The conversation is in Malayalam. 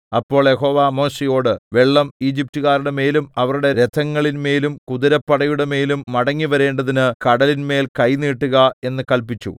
അപ്പോൾ യഹോവ മോശെയോട് വെള്ളം ഈജിപ്റ്റുകാരുടെ മേലും അവരുടെ രഥങ്ങളിൻ മേലും കുതിരപ്പടയുടെമേലും മടങ്ങി വരേണ്ടതിന് കടലിന്മേൽ കൈ നീട്ടുക എന്ന് കല്പിച്ചു